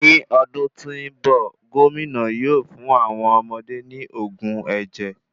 Ní ọdún tí nbọ, gomina yóò fun awọn ọmọde ní oògùn ẹjẹ